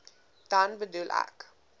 dan bedoel ek